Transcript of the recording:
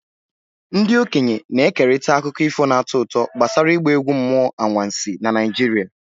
Ndị okenye na-ekerịta akụkọ ifo na-atọ ụtọ gbasara ịgba egwu mmụọ anwansi na Naijiria.